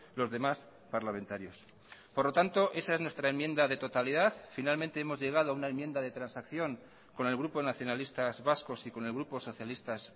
los demás parlamentarios por lo tanto esa es nuestra enmienda de totalidad finalmente hemos llegado a una enmienda de transacción con el grupo nacionalistas vascos y con el grupo socialistas